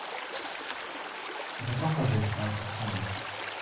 это просто жесть я отвечаю